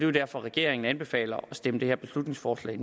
jo derfor at regeringen anbefaler at stemme det her beslutningsforslag